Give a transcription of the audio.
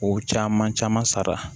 O caman caman sara